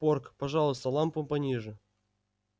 порк пожалуйста лампу пониже